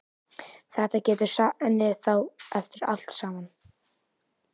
Þetta getur hann þá eftir allt saman!